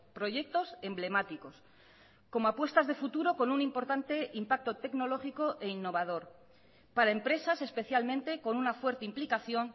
proyectos emblemáticos como apuestas de futuro con un importante impacto tecnológico e innovador para empresas especialmente con una fuerte implicación